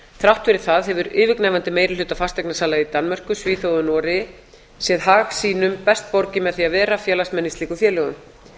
þrátt fyrir það hefur yfirgnæfandi meiri hluti fasteignasala í danmörku svíþjóð og noregi séð hag sínum best borgið með því að vera félagsmenn í slíkum félögum